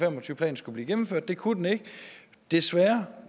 og tyve planen skulle blive gennemført det kun den ikke desværre